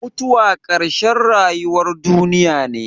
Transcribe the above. Mutuwa ƙarshen rayuwar duniya ne.